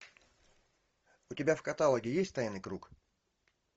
у тебя в каталоге есть тайный круг